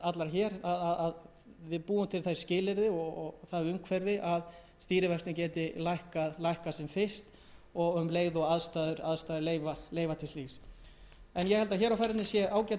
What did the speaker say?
hér að við búum til þau skilyrði og það umhverfi að stýrivextirnir geti lækkað sem fyrst um leið og aðstæður leyfa slíkt ég held að hér sé á ferðinni ágætismál og það